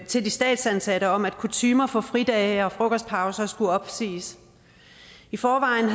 til de statsansatte om at kutymer for fridage og frokostpauser skulle opsiges i forvejen